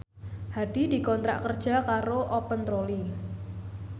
Hadi dikontrak kerja karo Open Trolley